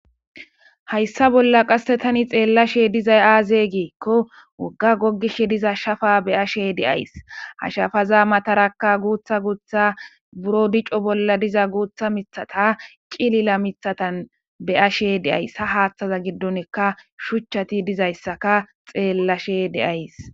Hayssa bolla qasse tani xeellashe dizay aaze giikko wogga gogish diza shafa be'ashe de'ayis. Ha shafaza matarakka guutha guutha buro dico bolla diza guutha mithata cilila mithatan be'ashe de'ayis. Ha haaththaza giddonika shuchchati diza issaka xeellashe de'ayis.